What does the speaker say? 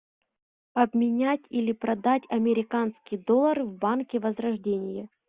обменять или продать американский доллар в банке возрождение